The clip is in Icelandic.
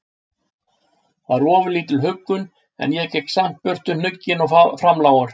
var ofurlítil huggun, en ég gekk samt burt hnugginn og framlágur.